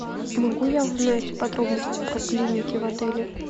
могу я узнать подробности про клиники в отеле